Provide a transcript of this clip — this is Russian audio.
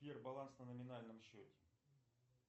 сбер баланс на номинальном счете